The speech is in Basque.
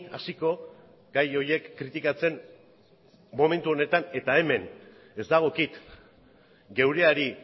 hasiko gai horiek kritikatzen momentu honetan eta hemen ez dagokit geureari